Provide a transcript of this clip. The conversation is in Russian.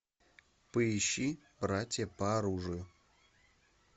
поищи братья по оружию